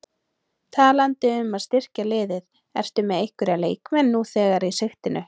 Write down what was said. Talandi um að styrkja liðið, ertu með einhverja leikmenn nú þegar í sigtinu?